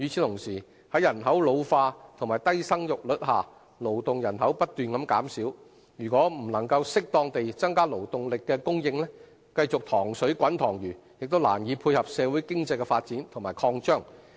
同時，在人口老化和低生育率下，勞動人口不斷減少，如果不能適當地增加勞動力的供應，繼續"塘水滾塘魚"，亦難以配合社會經濟的發展和擴張。